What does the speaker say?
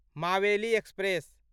Maveli express